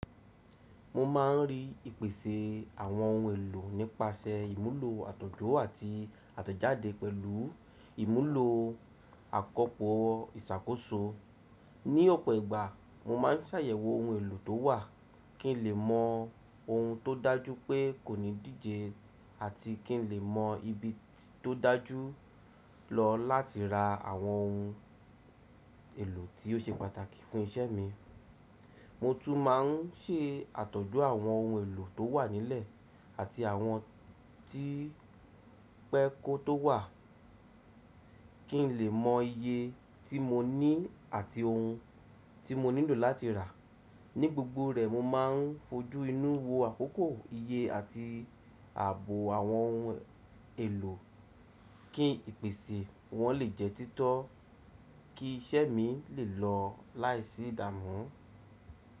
Mo ma ń ri ìpèsè àwọn ohun èlò nípasẹ ìmúlò àtọ̀jú àti àtọ̀jáde pẹ̀lú ìmúlò àkọ́pò ìṣàkóso. Ní ọ̀pọ̀ ìgbà, mo máa ń ṣàyẹ̀wò ohun èlò tó wà kí ń lè mọ ohun tó dájú pé kò ní díje àti kí ń lè mọ ibi tó dájú lọ láti ra àwọn ohun èlò tí ó ṣe pàtàkì fún iṣẹ́ mi. Mo tún máa ń ṣe àtọ̀jú àwọn ohun èlò tó wà nílẹ̀ àti àwọn ti pẹ́ kó tó wà kí ń lè mọ iye tí mo ní àti ohun tí mo nílò láti rà. Ní gbogbo rẹ̀, mo máa ń fojú inú wo àkókò, iye àti ààbò àwọn ohun èlò kí ìpèsè wọ́n lè jẹ́ títọ́ kí iṣẹ́ mi lè lọ láìsí ìdámù.